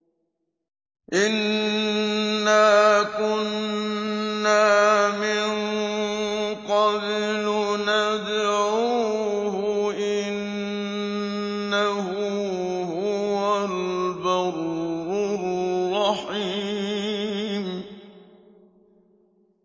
إِنَّا كُنَّا مِن قَبْلُ نَدْعُوهُ ۖ إِنَّهُ هُوَ الْبَرُّ الرَّحِيمُ